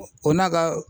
O n'a ka